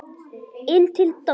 Inn til Dodda.